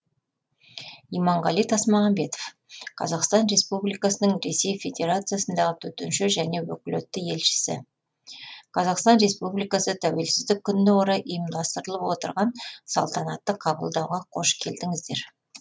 иманғали тасмағамбетов қазақстан республикасының ресей федерациясындағы төтенше және өкілетті елшісі қазақстан республикасы тәуелсіздік күніне орай ұйымдастырылып отырған салтанатты қабылдауға қош келдіңіздер